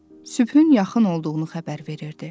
Sübhün yaxın olduğunu xəbər verirdi.